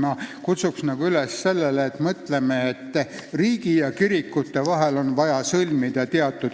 Ma kutsun üles mõtlema, et riigi ja kirikute vahel on vaja sõlmida